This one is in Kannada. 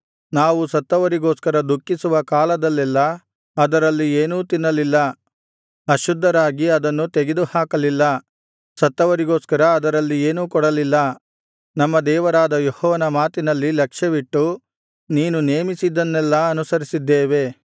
ನಾವು ಸತ್ತವರಿಗೋಸ್ಕರ ದುಃಖಿಸುವ ಕಾಲದಲ್ಲೆಲ್ಲಾ ಅದರಲ್ಲಿ ಏನೂ ತಿನ್ನಲಿಲ್ಲ ಅಶುದ್ಧರಾಗಿ ಅದನ್ನು ತೆಗೆದುಹಾಕಲಿಲ್ಲ ಸತ್ತವರಿಗೋಸ್ಕರ ಅದರಲ್ಲಿ ಏನೂ ಕೊಡಲಿಲ್ಲ ನಮ್ಮ ದೇವರಾದ ಯೆಹೋವನ ಮಾತಿನಲ್ಲಿ ಲಕ್ಷ್ಯವಿಟ್ಟು ನೀನು ನೇಮಿಸಿದ್ದನ್ನೆಲ್ಲಾ ಅನುಸರಿಸಿದ್ದೇವೆ